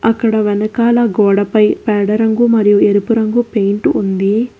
అక్కడ వెనకాల గోడ పై పేడ రంగు మరియు ఎరుపు రంగు పెయింట్ ఉంది.